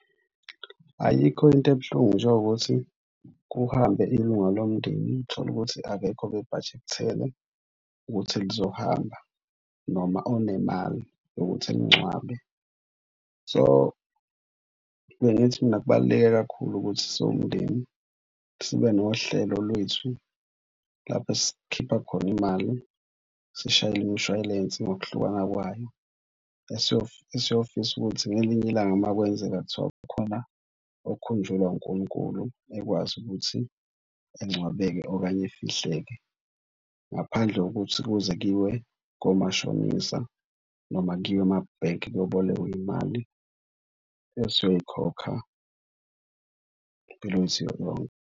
Ayikho into ebuhlungu njengokuthi kuhambe ilunga lomndeni tholukuthi akekho obe-budget-ele ukuthi lizohamba noma onemali yokuthi ningcwabe. So, bengithi mina kubaluleke kakhulu ukuthi siwumndeni sibe nohlelo lwethu lapha esikhipha khona imali sishayele imshwayilensi ngokuhlukana kwayo. Siyothi ngelinye ilanga uma kwenzeka kuthiwa kukhona okhunjulwa uNkulunkulu ekwazi ukuthi engcwabeke okanye efihleke, ngaphandle kokuthi kuze kuyiwe komashonisa noma kuyiwe emabhenki kuyobolekwa imali esizoyikhokha, impilo yethu yonke.